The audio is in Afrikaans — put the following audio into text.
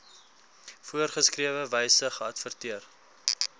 voorgeskrewe wyse geadverteer